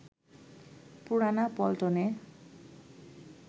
পুরানা পল্টনে